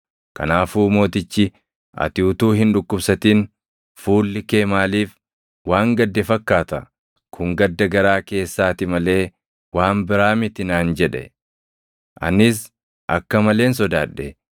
kanaafuu mootichi, “Ati utuu hin dhukkubsatin fuulli kee maaliif waan gadde fakkaata? Kun gadda garaa keessaati malee waan biraa miti” naan jedhe. Anis akka maleen sodaadhe;